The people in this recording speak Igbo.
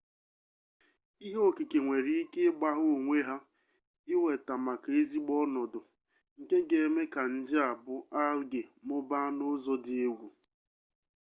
ihe okike nwere ike ịgbagha onwe ha iweta maka ezigbo ọnọdụ nke ga eme ka nje a bụ alge mụbaa n'ụzọ dị egwu